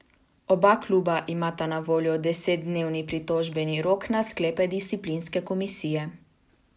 Oba kluba imata na voljo desetdnevni pritožbeni rok na sklepe disciplinske komisije.